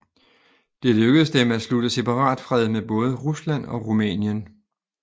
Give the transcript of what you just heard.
Det lykkedes dem at slutte separatfred med både Rusland og Rumænien